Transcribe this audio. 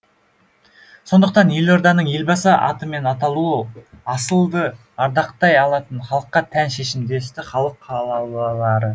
сондықтан елорданың елбасы атымен аталуы асылды ардақтай алатын халыққа тән шешім десті халық қалаулылары